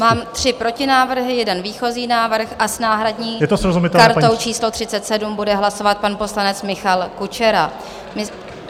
Mám tři protinávrhy, jeden výchozí návrh a s náhradní kartou číslo 37 bude hlasovat pan poslanec Michal Kučera.